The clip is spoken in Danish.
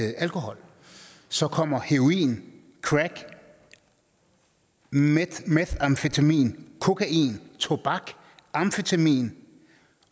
alkohol så kom heroin crack methamfetamin kokain tobak amfetamin